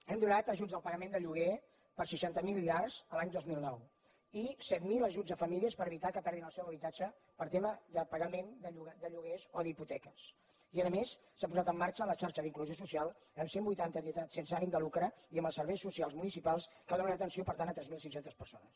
hem donat ajuts al pagament de lloguer per seixanta miler llars a l’any dos mil nou i set mil ajuts a famílies per evitar que perdin el seu habitatge per tema de pagament de lloguers o d’hipoteques i a més a més s’ha posat en marxa la xarxa d’inclusió social amb cent i vuitanta entitats sense ànim de lucre i amb els serveis socials municipals que donen atenció per tant a tres mil cinc cents persones